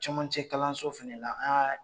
Cɛmancɛ kalanso fana la an y'a